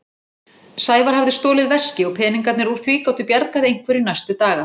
Sævar hafði stolið veski og peningarnir úr því gátu bjargað einhverju næstu daga.